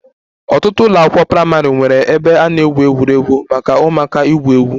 Ọtụtụ ụlọ akwụkwọ praịmarị nwere ebe a na-egwu egwuregwu maka ụmụaka igwu egwu